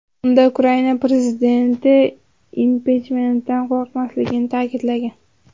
Unda Ukarina prezidenti impichmentdan qo‘rqmasligini ta’kidlagan.